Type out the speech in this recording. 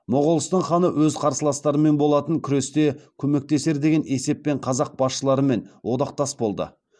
моғолстан ханы өз қарсыластарымен болатын күресте көмектесер деген есеппен қазақ басшыларымен одақтас болды